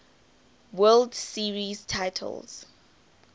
world series titles